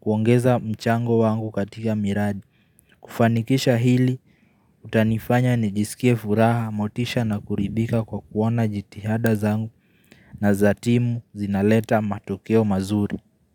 kuongeza mchango wangu katika miradi kufanikisha hili utanifanya nijisikie furaha motisha na kuridhika kwa kuona jitihada zangu na za timu zinaleta matokeo mazuri.